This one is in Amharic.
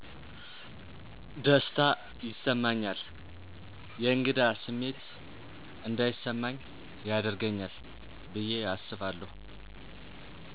ደስታ ይሰማኛል የእንግዳ ስሜት እንዳይስማኚ ያደርገኛል ብየ አስባለሁ።